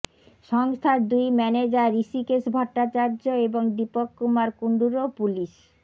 সংস্থার দুই ম্যানেজার ঋষিকেশ ভট্টাচার্য এবং দীপক কুমার কুণ্ডুরও পুলিস